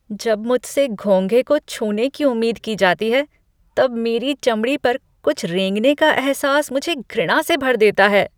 जब मुझसे घोंघे को छूने की उम्मीद की जाती है तब मेरी चमड़ी पर कुछ रेंगने का अहसास मुझे घृणा से भर देता है।